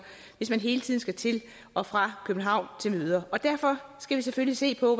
hvis man hele tiden skal til og fra københavn til møder og derfor skal vi selvfølgelig se på